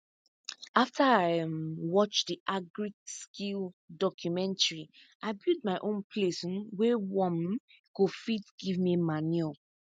after i um watch the agriskill documentary i build my own place um wey worm um go fit give me manure